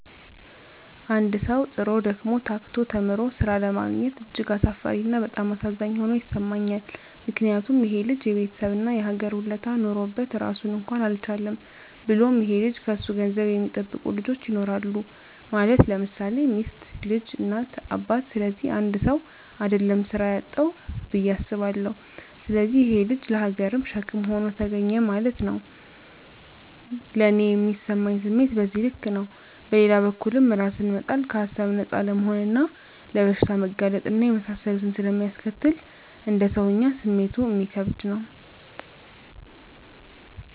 አንድ ሠዉ, ጥሮ: ደክሞ :ታክቶ ተምሮ ስራ አለማግኘት እጅግ አሳፋሪ እና በጣም አሳዛኝ ሆኖ ይሠማኛል ምክንያቱም :ይሄ ልጅ የቤተሠብ እና የሀገር ውለታ ኖሮበት ራሱን እንኳን አልቻለም። ብሎም ይሄ ልጅ ከሱ ገንዘብ የሚጠብቁ ልጆች ይኖራሉ ማለት _ለምሳሌ ሚስት: ልጅ: እናት :አባት ስለዚህ 1ሰው: አደለም ስራ ያጣዉ ብየ አስባለሁ። ስለዚህ ይሄ_ ልጅ ለሀገርም ሸክም ሆኖ ተገኘ ማለት ነዉ። ለኔ ሚሰማኝ ስሜት በዚህ ልክ ነው። በሌላ በኩልም እራስን መጣል ከሀሳብ ነፃ አለመሆንና ለበሽታ መጋለጥ እና የመሳሰሉትን ስለሚያስከትል: እንደ ሰወኛ ስሜቱ እሚከብድ ነው